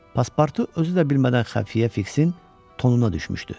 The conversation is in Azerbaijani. Paspartu özü də bilmədən xəfiyə Fiksin tonuna düşmüşdü.